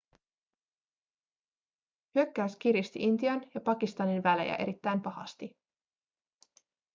hyökkäys kiristi intian ja pakistanin välejä erittäin pahasti